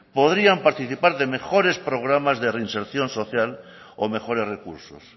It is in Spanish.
podrían participar de mejores programas de reinserción social o mejores recursos